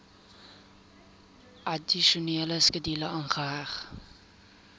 addisionele skedule aangeheg